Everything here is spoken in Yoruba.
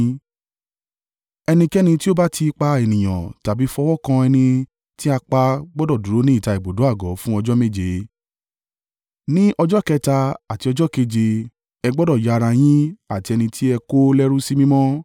“Ẹnikẹ́ni tí ó bá ti pa ènìyàn tàbí fọwọ́ kan ẹni tí a pa gbọdọ̀ dúró ní ìta ibùdó àgọ́ fún ọjọ́ méje. Ní ọjọ́ kẹta àti ọjọ́ keje ẹ gbọdọ̀ ya ara yín àti ẹni tí ẹ kó lẹ́rú sí mímọ́.